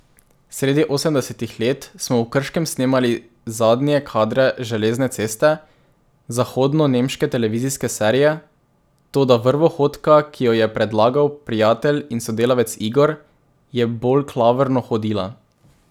Sredi osemdesetih let smo v Krškem snemali zadnje kadre Železne ceste, zahodnonemške televizijske serije, toda vrvohodka, ki jo je predlagal prijatelj in sodelavec Igor, je bolj klavrno hodila.